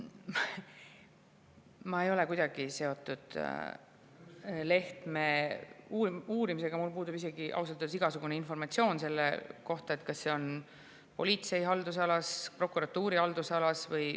Ma ei ole kuidagi seotud Lehtme uurimisega, mul puudub isegi ausalt öeldes igasugune informatsioon selle kohta, kas see on politsei haldusalas või prokuratuuri haldusalas.